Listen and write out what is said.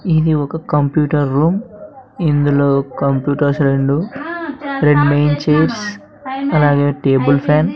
ఇది ఒక computer room ఇందులో కంప్యూటర్ సెల్లు రెడ్ బేంచెస్ అలాగే టేబుల్ ఫ్యాన్ --